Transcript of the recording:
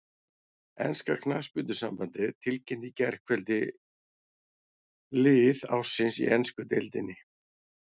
Enska knattspyrnusambandið tilkynnti í gærkvöld lið ársins í ensku deildinni.